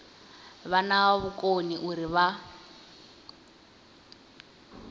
vha na vhukoni uri vha